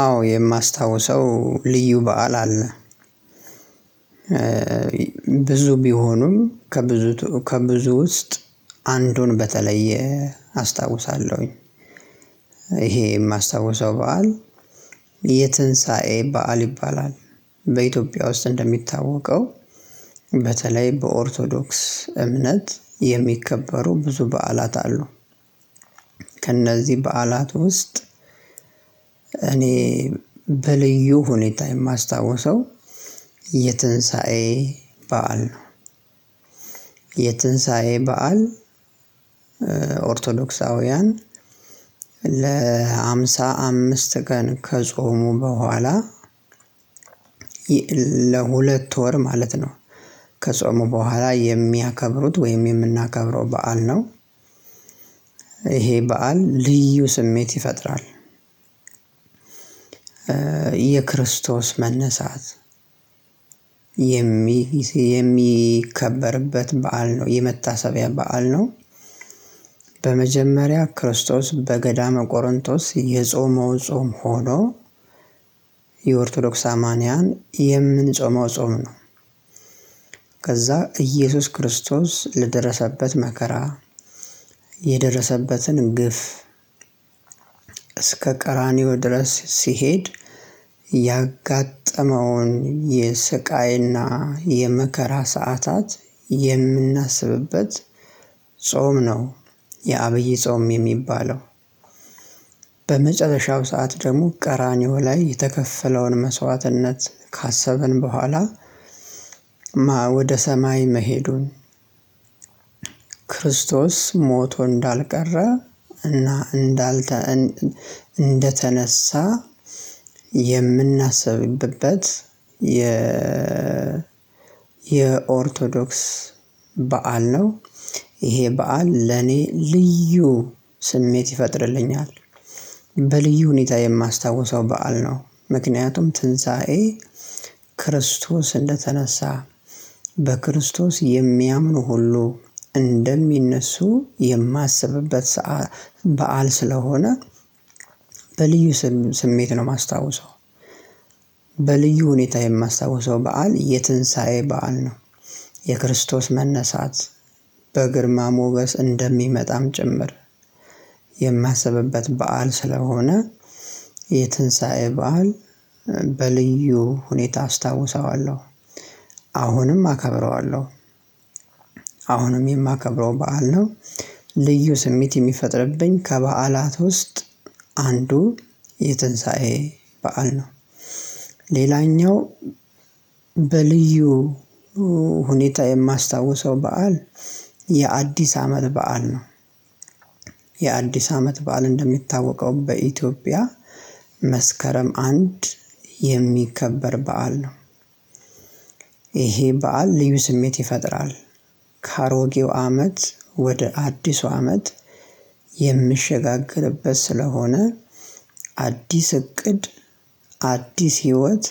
አዎ የማስታውሰው ልዩ በዓል አለ ብዙ ቢሆኑም ከብዙ ቱ ከብዙ ውስጥ አንዱን በተለየ አስታውሳለሁኝ። ይሄ የማስታውሰው በዓል የትንሳኤ በዓል ይባላል። በኢትዮጵያ ውስጥ እንደሚታወቀው በተለይ በኦርቶዶክስ እምነት የሚከበሩ ብዙ በዓላት አሉ። ከእነዚህ በዓላት ውስጥ እኔ በልዩ ሁኔታ የማስታውሰው የትንሳኤ በዓል ነው። የትንሳኤ በዓል ኦርቶዶክሳውያን ለሃምሳ አምስት ቀን ከጾሙ በኋላ። ለሁለት ወር ማለት ነው ከጾሙ በኋላ የሚያከብሩት ወይም የምናከብረው በዓል ነው። ይሄ በዓል ልዩ ስሜት ይፈጥራል። የክርስቶስ መነሳት የሚስ የሚከበርበት በዓል ነው የመታሰቢያ በዓል ነው። በመጀመሪያ ክርስቶስ በገዳመ ቆሮንጦስ የጾመው ጾም ሆኖ። የኦርቶዶክስ አማንያን የምንጾመው ጾም ነው። ከዛ ኢየሱስ ክርስቶስ ለደረሰበት መከራ። የደረሰበትን ግፍ እስከ ቀራንዮ ድረስ ሲሄድ ያጋጠመውን የስቃይ እና የመከራ ሰዓታት የምናስብበት ጾም ነው። የአብይ ጾም የሚባለው በመጨረሻው ሰዓት ደግሞ ቀራንዮ ላይ የተከፈለውን መስዋዕትነት ካሰብን በኋላ። ወደ ሰማይ መሄዱን ክርስቶስ ሞቶ እንዳልቀረ እና እንዳልተ እን እንደተነሳ የምናስብበት የ የኦርቶዶክስ በዓል ነው። ይሄ በዓል ለኔ ልዩ ስሜት ይፈጥርልኛል። በልዩ ሁኔታ የማስታውሰው በዓል ነው ምክንያቱም ትንሳኤ ክርስቶስ እንደተነሳ በክርስቶስ የሚያምኑ ሁሉ እንደሚነሱ የማስብበት ሰዓ በዓል ስለሆነ። በልዩ ስም ስሜት ነው የማስታውሰው። በልዩ ሁኔታ የማስታውሰው በዓል የትንሳኤ በዓል ነው። የክርስቶስ መነሳት በግርማ ሞገስ እንደሚመጣም ጭምር የማስብበት በዓል ስለሆነ። የትንሳኤ በዓል በልዩ ሁኔታ አስታውሰዋለሁ። አሁንም አከብረዋለሁ። አሁንም የማከብረው በዓል ነው። ልዩ ስሜት የሚፈጥርብኝ ከበዓላት ውስጥ አንዱ የትንሳኤ በዓል ነው። ሌላኛው በልዩ ሁኔታ የማስታውሰው በዓል የአዲስ አመት በዓል ነው። የአዲስ አመት በዓል እንደሚታወቀው በኢትዮጵያ መስከረም አንድ የሚከበር በዓል ነው። ይሄ በዓል ልዩ ስሜት ይፈጥራል። ከአሮጌው አመት ወደ አዲሱ አመት የምሸጋገርበት ስለሆነ። አዲስ እቅድ አዲስ ህይወት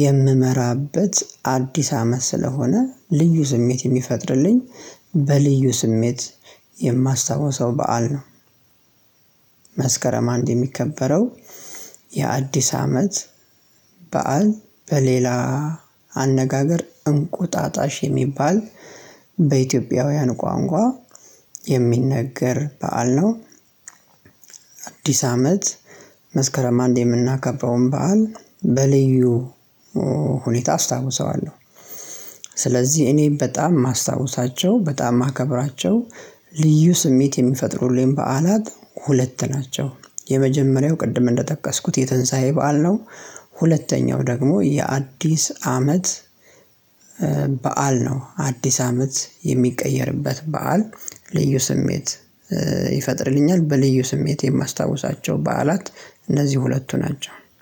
የምመራበት አዲስ አመት ስለሆነ ልዩ ስሜት የሚፈጥርልኝ በልዩ ስሜት የማስታውሰው በዓል ነው። መስከረም አንድ የሚከበረው የአዲስ አመት በዓል በሌላ አነጋገር እንቁጣጣሽ የሚባል በኢትዮጵያውያን ቋንቋ የሚነገር በዓል ነው። አዲስ አመት መስከረም አንድ የምናከበረውን በዓል በልዩ ሁኔታ አስታውሰዋለሁ። ስለዚህ እኔ በጣም የማስታወሳቸው በጣም የማከብራቸው ልዩ ስሜት የሚፈጥሩልኝ በዓላት ሁለት ናቸው። የመጀመሪያው ቅድም እንደጠቀስኩት የትንሳኤ በዓል ነው። ሁለተኛው ደግሞ የአዲስ አመት በዓል ነው። አዲስ አመት የሚቀየርበት በዓል ልዩ ስሜት ይፈጥርልኛል። በልዩ ስሜት የማስታውሳቸው በዓላት እነዚህ ሁለቱ ናቸው